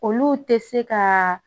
Olu tɛ se ka